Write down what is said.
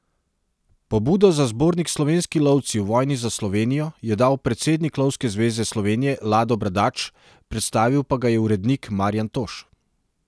Pobudo za zbornik Slovenski lovci v vojni za Slovenijo je dal predsednik Lovske zveze Slovenije Lado Bradač, predstavil pa ga je urednik Marjan Toš.